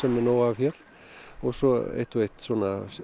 er nóg af hér og svo eitt og eitt